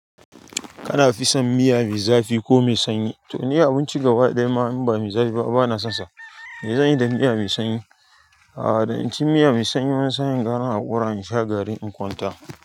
Kana fison miya me zafi ko me sanyi? To ni abinci gaba ɗaya ma in ba mi zafi ba bana sonsa. Me zan yi da miya me sanyi. A'a dan inci miya me sanyi wani sa'in gara in haƙura in sha garin in kwanta.